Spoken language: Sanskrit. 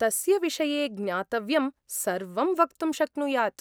तस्य विषये ज्ञातव्यं सर्वं वक्तुं शक्नुयात्।